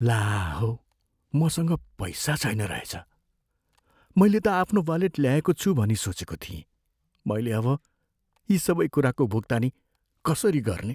ला हौ! मसँग पैसा छैन रहेछ, मैले त आफ्नो वालेट ल्याएको छु भनी सोचेको थिएँ। मैले अब यी सबै कुराको भुक्तानी कसरी गर्ने?